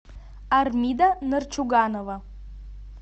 армида нарчуганова